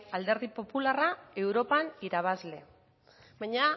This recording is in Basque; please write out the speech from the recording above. alderdi popularra europan irabazle baina